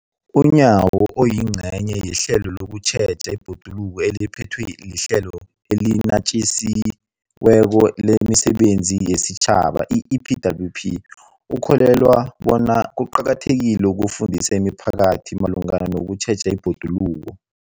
UNyawo, oyingcenye yehlelo lokutjheja ibhoduluko eliphethwe liHlelo eliNatjisi weko lemiSebenzi yesiTjhaba, i-EPWP, ukholelwa bona kuqakathekile ukufundisa imiphakathi malungana nokutjheja ibhoduluko.